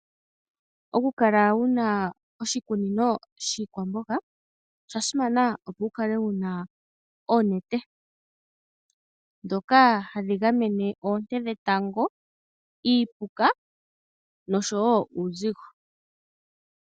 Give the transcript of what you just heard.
Oku kala wuna oshikunino shiikwamboga osha simana opo wu kale wuna oonete, ndhoka hadhi gamene oonte dhetango, iipuka noshowo uuzigo.